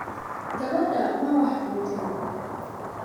Gabadha, ma wax cuntay?